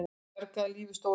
Bjargaði lífi stóru systur